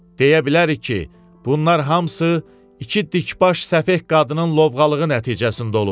Deyə bilərik ki, bunlar hamısı iki dikbaş səfeh qadının lovğalığı nəticəsində olub.